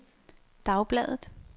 dagbladet